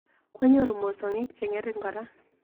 Kwanyoru mosongik cheng'ering kora.